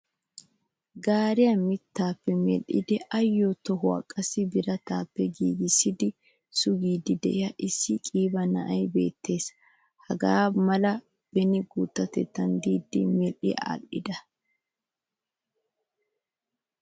Gaariyaa mittappe medhdhidi ayo tohuwaa qassi biratappe giigisidi suggidi de'iyaa issi qiiba na'ay beettees. Hagaamala beni guuttatettan de'idi mehdhidi laagida.